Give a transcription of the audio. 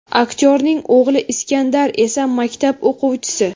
Aktyorning o‘g‘li Iskandar esa maktab o‘quvchisi.